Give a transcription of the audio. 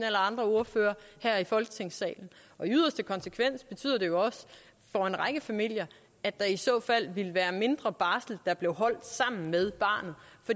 eller andre ordførere her i folketingssalen i yderste konsekvens betyder det jo også for en række familier at der i så fald ville være mindre barsel der blev holdt sammen med barnet